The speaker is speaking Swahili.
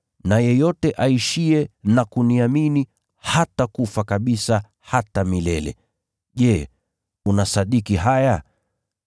na yeyote aishiye na kuniamini hatakufa kabisa hata milele. Je, unasadiki haya?”